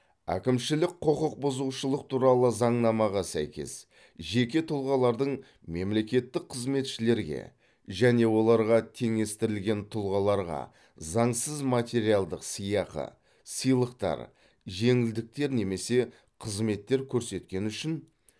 әкімшілік құқықбұзушылық туралы заңнамаға сәйкес жеке тұлғалардың мемлекеттік қызметшілерге және оларға теңестірілген тұлғаларға заңсыз материалдық сыйақы сыйлықтар жеңілдіктер немесе қызметтер көрсеткені үшін